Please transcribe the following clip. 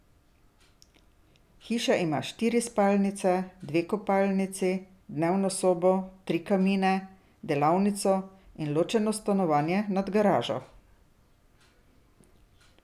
Hiša ima štiri spalnice, dve kopalnici, dnevno sobo, tri kamine, delavnico in ločeno stanovanje nad garažo.